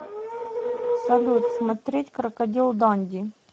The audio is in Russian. салют смотреть крокодил данди